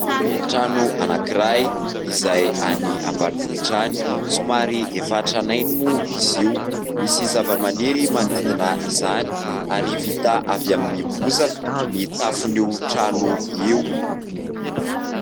Trano anankiray izay any ambanivohitra any. Somary efa tranainy moa izy io. Misy zavamaniry manodidina izany ary vita avy amin'ny bozaka ny tafon'io trano io.